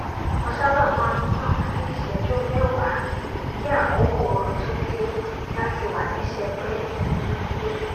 mo sábà má n nà fún ìṣẹjú mẹwàá kí àkókò oorun tó dé láti wà ní sẹpẹ nínú ilé